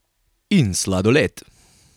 In sladoled!